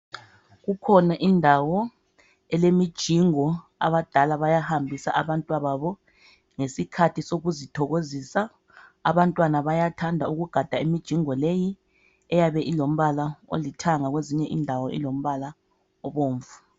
Kukhona indawo elemijingo abadala bayahambisa abantwa babo ngesikhathi sokuzithokozisa. Abantwana bayathanda ukugada imijingo leyi eyabe ilombala olithanga kwezinye indawo ilombala obomvu.